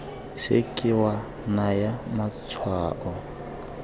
se ke wa naya matshwao